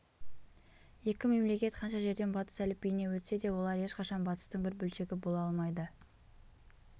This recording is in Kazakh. екі мемлекет қанша жерден батыс әліпбиіне өтсе де олар ешқашан батыстың бір бөлшегі бола алмайды